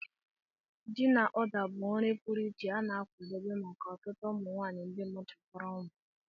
Ji na Uda bụ nri pụrụ iche a na-akwadebe maka ọtụtụ ụmụ nwanyị ndị mụchapúrụ nwa